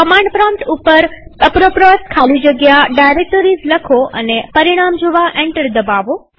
command prompt પર apropos ખાલીજગ્યા directories લખો અને પરિણામ જોવા એન્ટર દબાવો